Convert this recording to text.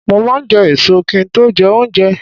Mo máa n je èso ki n to jé oúnje